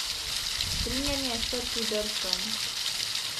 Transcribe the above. Nato se veseljačenje preseli v pristanišče.